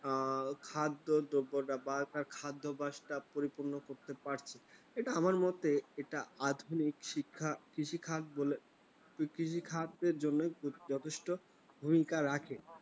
খাদ্যদ্রব্য ব্যাপার বা খাদ্যাভ্যাস পরিপূর্ণ করতে পারছি, এটা আমার মতে একটা আধুনিক শিক্ষা কৃষি খাত বলে কৃষি খাতের জন্য যথেষ্ট ভূমিকা রাখে।